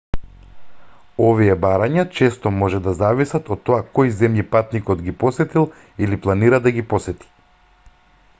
овие барања често може да зависат од тоа кои земји патникот ги посетил или планира да ги посети